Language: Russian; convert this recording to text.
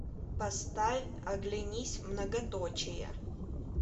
поставь оглянись многоточия